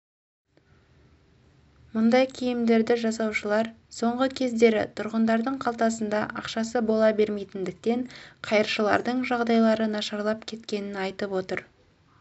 мұндай киімдерді жасаушылар соңғы кездері тұрғындардың қалтасында ақшасы бола бермейтіндіктен қайыршылардың жағдайлары нашарлап кеткенін айтып отыр